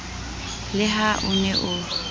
le ha o ne o